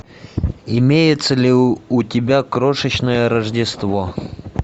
имеется ли у тебя крошечное рождество